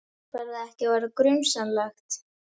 Fer það ekki að verða grunsamlegt?